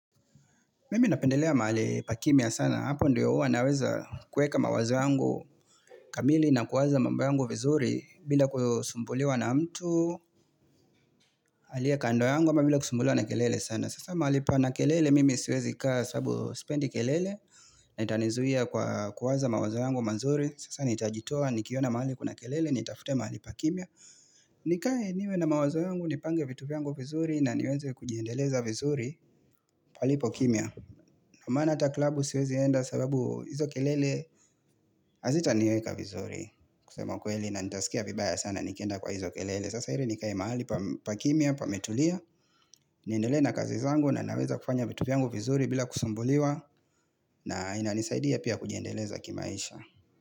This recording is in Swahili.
Mimi napendelea mahali pa kimia sana. Hapo ndio uwa naweza kueka mawazo yangu kamili na kuwaza mambu yangu vizuri bila kusumbulua na mtu alia kando yangu bila kusumbulua na kelele sana. Sasa mahali pa na kelele mimi siwezi kaa sabu spendi kelele na itanizuia kwa kuwaza mawazo yangu mazuri. Sasa nitajitua nikiona mahali kuna kelele, nitafute mahali pa kimia. Nikae niwe na mawazo yangu, nipange vitu viyangu vizuri na niweze kujiendeleza vizuri palipo kimia. Na manata klabu siwezi enda sababu izo kelele azita niweka vizuri kusema kweli na nitaskia vibaya sana nikenda kwa izo kelele Sasa hiri nikai mahali pakimia pametulia. Nindelena kazi zangu na naweza kufanya vitu vyangu vizuri bila kusumbuliwa. Na inanisaidia pia kujiendeleza kimaisha.